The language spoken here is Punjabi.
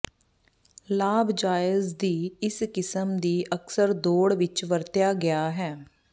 ਲਾਭ ਜਾਇਜ਼ ਦੀ ਇਸ ਕਿਸਮ ਦੀ ਅਕਸਰ ਦੌੜ ਵਿੱਚ ਵਰਤਿਆ ਗਿਆ ਹੈ